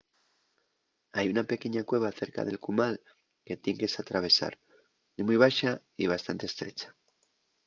hai una pequeña cueva cerca del cumal que tien que s’atravesar. ye mui baxa y bastante estrecha